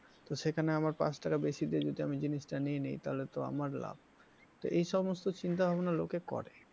তো সেখানে আমার পাঁচ টাকা বেশি দিয়ে যদি আমি জিনিসটা নিয়ে নিই তাহলে তো আমার লাভ তো এই সমস্ত চিন্তাভাবনা লোকে করে।